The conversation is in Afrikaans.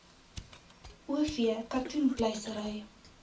o v katoenpluisery